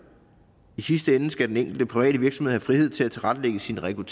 i sidste ende skal den enkelte private virksomhed have frihed til at tilrettelægge